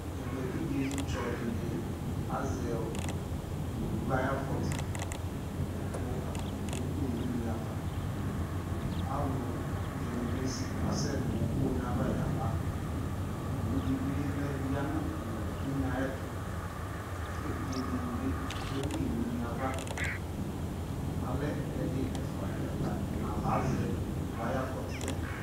Ɛmɛ evidze tsɔ dιnι azɛ owu ayι afɔtι, kʋ atanι ke ku nʋ une ava Alʋ dιnι bι asɛ nʋ une yɛ ava ya baOwu dι bι ya, lɛ nʋ une ayι ɛtʋ, kʋ evidze dιnι bι keli nʋ une yɛ ava Alɛ ɛdι ɛfua, ɛla, ɛna la azɛ owu ayʋ afɔtι yɛ